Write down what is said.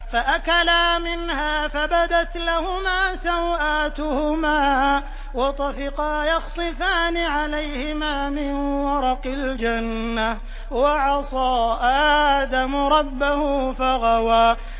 فَأَكَلَا مِنْهَا فَبَدَتْ لَهُمَا سَوْآتُهُمَا وَطَفِقَا يَخْصِفَانِ عَلَيْهِمَا مِن وَرَقِ الْجَنَّةِ ۚ وَعَصَىٰ آدَمُ رَبَّهُ فَغَوَىٰ